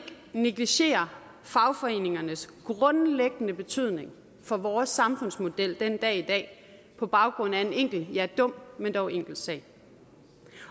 negligere fagforeningernes grundlæggende betydning for vores samfundsmodel den dag i dag på baggrund af en enkelt ja dum men dog en enkelt sag